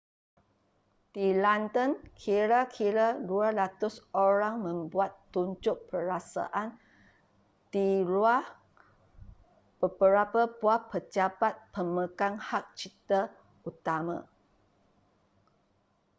di london kira-kira 200 orang membuat tunjuk perasaan di luar beberapa buah pejabat pemegang hak cipta utama